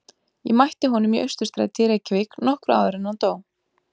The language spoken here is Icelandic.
Ég mætti honum í Austurstræti í Reykjavík nokkru áður en hann dó.